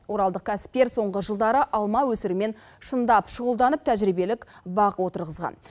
оралдық кәсіпкер соңғы жылдары алма өсірумен шындап шұғылданып тәжірибелік бақ отырғызған